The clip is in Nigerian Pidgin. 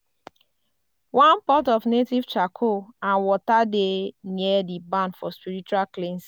one pot of native charcoal and water dey near di barn for spiritual cleansing.